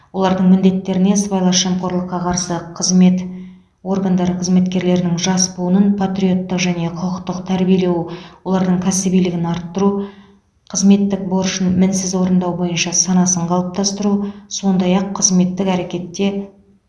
олардың міндеттеріне сыбайлас жемқорлыққа қарсы қызмет органдары қызметкерлерінің жас буынын патриоттық және құқықтық тәрбиелеу олардың кәсібилігін арттыру қызметтік борышын мінсіз орындау бойынша санасын қалыптастыру сондай ақ қызметтік әрекетте